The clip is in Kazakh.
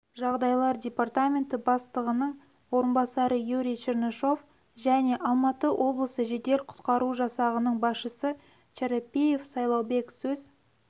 жағдайлар департаменті бастығының орынбасары юрий чернышов және алматы облысы жедел-құтқару жасағының басшысы чарапиев сайлаубек сөз